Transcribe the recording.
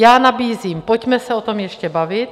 Já nabízím: Pojďme se o tom ještě bavit!